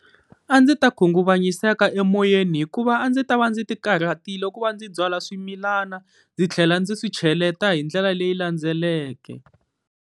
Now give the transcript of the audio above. A ndzi ta khunguvanyiseka emoyeni hikuva a ndzi ta va ndzi ti karhatekile ku va ndzi byala swimilana, ndzi tlhela ndzi swi cheleta hi ndlela leyi landzeleke.